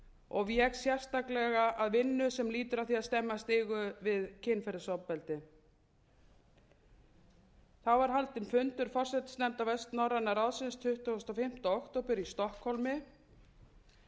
og vék sérstaklega að vinnu sem lýtur að því að stemma stigu við kynferðisofbeldi þá var haldinn fundur forsætisnefndar vestnorræna ráðsins tuttugasta og fimmta október í stokkhólmi